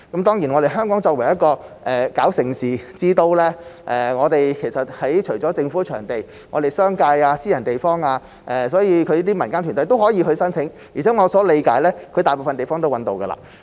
當然，香港作為盛事之都，除了政府的場地，也有商界和私人場地供這種民間團體申請，而且據我理解，大部分賽事已經找到場地。